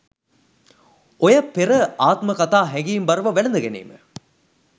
ඔය පෙර ආත්ම කතා හැඟීම්බරව වැලඳගැනීම